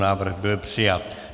Návrh byl přijat.